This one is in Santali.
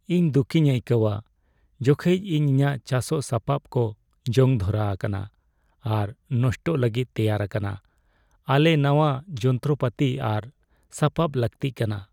ᱤᱧ ᱫᱩᱠᱤᱧ ᱟᱹᱭᱠᱟᱹᱣᱟ ᱡᱚᱠᱷᱮᱡ ᱤᱧ ᱤᱧᱟᱹᱜ ᱪᱟᱥᱚᱜ ᱥᱟᱯᱟᱵ ᱠᱚᱡᱚᱝ ᱫᱷᱚᱨᱟ ᱟᱠᱟᱱᱟ ᱟᱨ ᱱᱚᱥᱴᱚᱜ ᱞᱟᱹᱜᱤᱫ ᱛᱮᱭᱟᱨ ᱟᱠᱟᱱᱟ ᱾ ᱟᱞᱮ ᱱᱟᱶᱟ ᱡᱚᱱᱛᱚᱨᱯᱟᱹᱛᱤ ᱟᱨ ᱥᱟᱯᱟᱵ ᱞᱟᱹᱠᱛᱤ ᱠᱟᱱᱟ ᱾